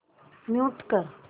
mute कर